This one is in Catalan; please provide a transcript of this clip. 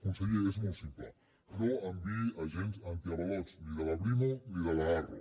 conseller és molt simple no enviï agents antiavalots ni de la brimo ni de l’arro